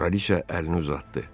Kraliçə əlini uzatdı.